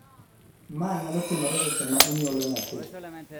ma nyalo timore seche ma inyuolo nyathi